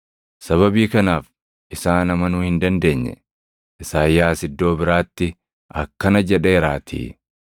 Sababii kanaaf isaan amanuu hin dandeenye; Isaayyaas iddoo biraatti akkana jedheeraatii;